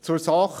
Zur Sache: